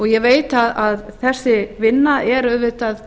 ég veit að þessi vinna er auðvitað